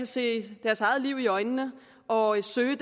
se deres eget liv i øjnene og søge